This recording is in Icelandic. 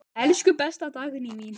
Elsku besta Dagný mín.